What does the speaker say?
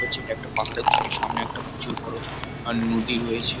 হচ্ছে এটা একটা পাহাড়ের ছবি সামনে একটা প্রচুর বড় নদী রয়েছে।